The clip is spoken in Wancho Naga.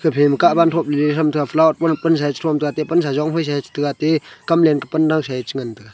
thom le them tega flower lo pansa e che jon tega ate pansa che jon phai tega te kamlem ke pan dosa e che ngan tega.